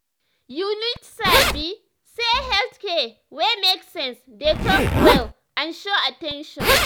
you need sabi say health care wey make sense dey talk well and show at ten tion.